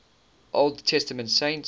old testament saints